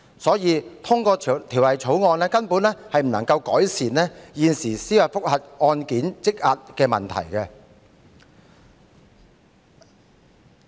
因此，通過《條例草案》根本不能夠改善現時司法覆核案件積壓的問題。